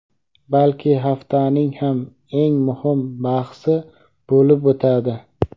balki haftaning ham eng muhim bahsi bo‘lib o‘tadi.